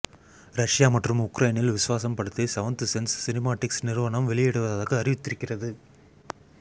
Russia மற்றும் உக்ரைனில் விஸ்வாசம் படத்தை செவன்த் சென்ஸ் சினிமாட்டிக்ஸ் நிறுவனம் வெளியிடுவதாக அறிவித்திருக்கிறது